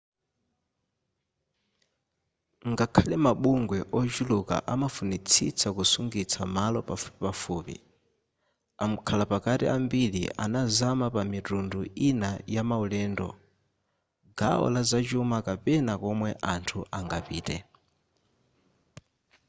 ngakhale mabungwe ochuluka amafunitsitsa kusungitsa malo pafupipafupi amkhalapakati ambiri anazama pamitundu ina yamaulendo gawo la zachuma kapena komwe anthu angapite